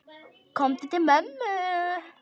Komdu til mömmu.